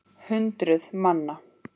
Hundruð manna.